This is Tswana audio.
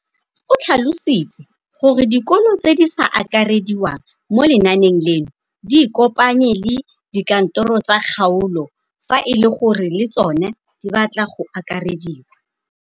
O tlhalositse gore dikolo tse di sa akarediwang mo lenaaneng leno di ikopanye le dikantoro tsa kgaolo fa e le gore le tsona di batla go akarediwa.